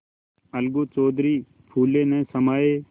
अलगू चौधरी फूले न समाये